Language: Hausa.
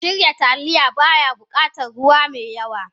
Shirya Taliya, ba ya buƙatar ruwa mai yawn.